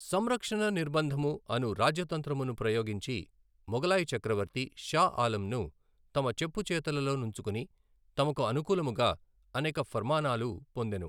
సంరక్షణ నిర్భందము అను రాజ్య తంత్రమును ప్రయోగించి మొగలాయి చక్రవర్తి షా ఆలంను తమ చెప్పుచేతలలో నుంచుకుని తమకు అనూకాలుముగ అనేక ఫర్మానాలు పొందెను.